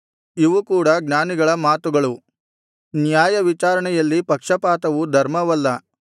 ಇವು ಕೂಡ ಜ್ಞಾನಿಗಳ ಮಾತುಗಳು ನ್ಯಾಯವಿಚಾರಣೆಯಲ್ಲಿ ಪಕ್ಷಪಾತವು ಧರ್ಮವಲ್ಲ